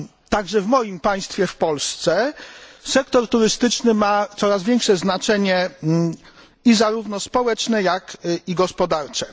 Także w moim państwie, w Polsce, sektor turystyczny ma coraz większe znaczenie zarówno społeczne, jak i gospodarcze.